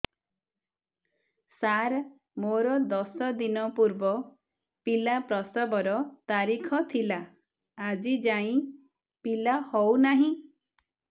ସାର ମୋର ଦଶ ଦିନ ପୂର୍ବ ପିଲା ପ୍ରସଵ ର ତାରିଖ ଥିଲା ଆଜି ଯାଇଁ ପିଲା ହଉ ନାହିଁ